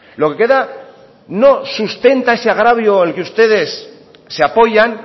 lo que queda no sustenta ese agravio al que ustedes se apoyan